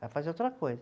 Vai fazer outra coisa.